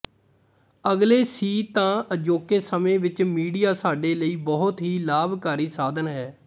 ਅਗਲੇ ਸੀ ਤਾਂ ਅਜੋਕੇ ਸਮੇਂ ਵਿੱਚ ਮੀਡੀਆ ਸਾਡੇ ਲਈ ਬਹੁਤ ਹੀ ਲਾਭਕਾਰੀ ਸਾਧਨ ਹੈ